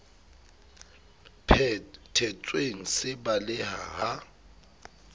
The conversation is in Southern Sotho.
phe thetsweng se baleha ha